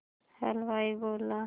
हलवाई बोला